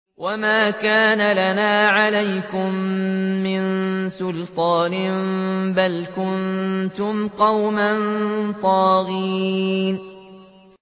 وَمَا كَانَ لَنَا عَلَيْكُم مِّن سُلْطَانٍ ۖ بَلْ كُنتُمْ قَوْمًا طَاغِينَ